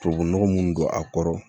Tubabunɔgɔ minnu don a kɔrɔ